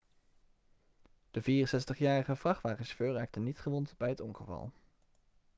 de 64-jarige vrachtwagenchauffeur raakte niet gewond bij het ongeval